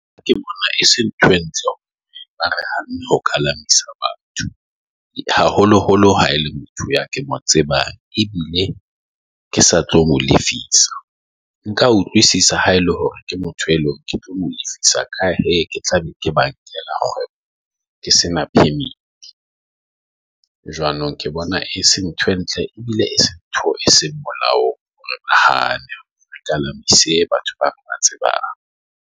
Ha ke se nthwe, re hokahala batho haholoholo ha e le motho ya ke mo tseba ebile ke sa tlo mo lefisa. Nka utlwisisa haele hore ke motho e leng e visa Ka ha ke tla be ke ba ke sena permit jwanong, ke bona e se nthwe ntle ebile ntho e seng molaong. Nahana batho ba tsebang .